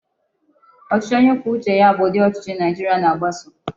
Ochichi onye kwuo uche ya bu udi Ochichi Naijiria na-agbaso